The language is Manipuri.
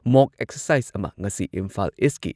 ꯃꯣꯛ ꯑꯦꯛꯁꯔꯁꯥꯏꯖ ꯑꯃ ꯉꯁꯤ ꯏꯝꯐꯥꯜ ꯏꯁꯀꯤ